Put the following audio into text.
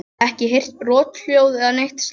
Ekki heyrt brothljóð eða neitt slíkt?